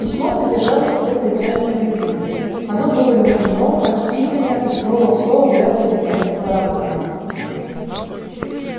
письмо содержало в себе признание в любви оно было нежно почтительно и слово в слово взято из немецкого романа